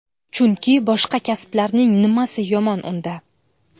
Chunki boshqa kasblarning nimasi yomon unda?